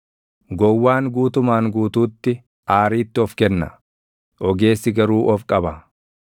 Gowwaan guutumaan guutuutti aariitti of kenna; ogeessi garuu of qaba.